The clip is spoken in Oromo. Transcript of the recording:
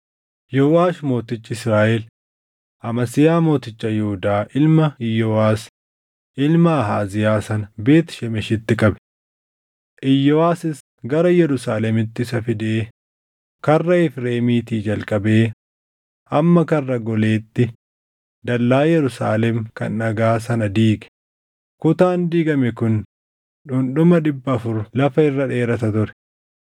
Yooʼaash mootichi Israaʼel, Amasiyaa mooticha Yihuudaa ilma Iyooʼas ilma Ahaaziyaa sana Beet Shemeshitti qabe. Iyooʼasis gara Yerusaalemitti isa fidee Karra Efreemiitii jalqabee hamma Karra Goleetti dallaa Yerusaalem kan dhagaa sana diige; kutaan diigame kun dhundhuma dhibba afur lafa irra dheerata ture.